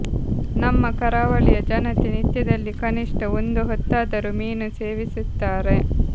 ನಮ್ಮ ಕರಾವಳಿಯ ಜನತೆ ನಿತ್ಯದಲ್ಲಿ ಕನಿಷ್ಟ ಒಂದು ಹೊತ್ತಾದರೂ ಮೀನು ಸೇವಿಸುತ್ತಾರೆ